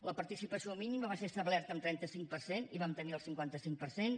la participació mínima va ser establerta en trenta cinc per cent i vam tenir el cinquanta cinc per cent